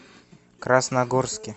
красногорске